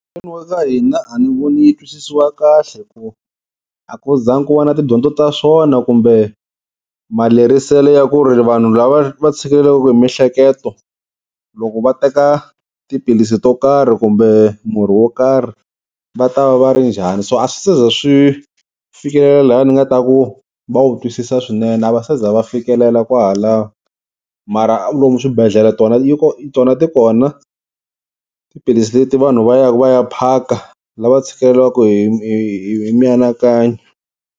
Mugangeni wa ka hina a ni voni yi twisisiwa kahle hikuva a ku zangi ku va na tidyondzo ta swona kumbe malerisele ya ku ri vanhu lava va tshikeleliwaku hi mihleketo loko va teka tiphilisi to karhi kumbe murhi wo karhi va ta va va ri njhani. So a swi ze swi fikelela laha ni nga ta ku va wu twisisa swinene, a va se za va fikelela kwahalano. Mara lomu swibedhlele tona yi tona ti kona tiphilisi leti vanhu va ya va ya phaka lava tshikelelaku hi hi hi mianakanyo.